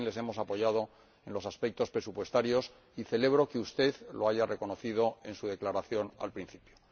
también les hemos apoyado en los aspectos presupuestarios y celebro que usted lo haya reconocido en su declaración al principio.